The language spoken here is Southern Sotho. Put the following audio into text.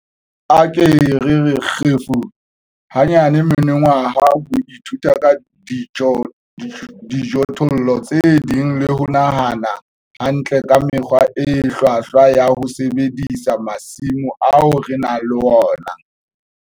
A re ke re re kgefu! hanyane monongwaha ho ithuta ka dijothollo tse ding le ho nahana hantle ka mekgwa e hlwahlwa ya ho sebedisa masimo ao re nang le ona.